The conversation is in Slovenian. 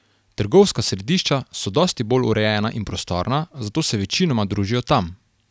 Trgovska središča so dosti bolje urejena in prostorna, zato se večinoma družijo tam.